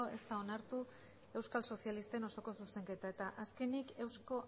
ez da onartu euskal sozialisten osoko zuzenketa eta azkenik euzko